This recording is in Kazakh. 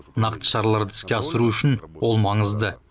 нақты шараларды іске асыру үшін ол маңызды